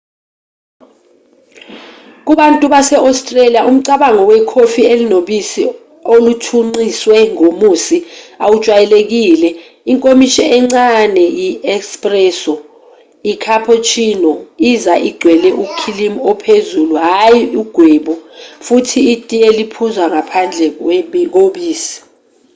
kubantu base-australia umcabango wekhofi 'elinobisi oluthunqiswe ngomusi' awujwayelekile. inkomishi encane 'yi-espresso' i-cappuccino iza igcwele ukhilimu ophezulu hhayi ugwebu futhi itiye liphuzwa ngaphandle kobisi